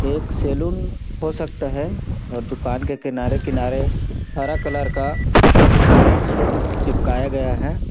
एक सैलून हो सकता है और दुकान के किनारे-किनारे हरा कलर का मेट चिपकाया गया है।